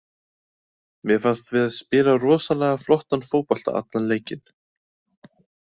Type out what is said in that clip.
Mér fannst við spila rosalega flottan fótbolta allan leikinn.